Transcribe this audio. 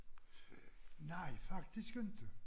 Nej faktisk inte